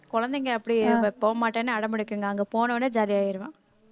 குழந்தைங்க அப்படி போமாட்டேன்னு அடம் பிடிக்குங்க அங்க போன உடனே jolly ஆயிடுவான்